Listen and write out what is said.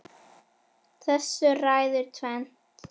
Þessu ræður tvennt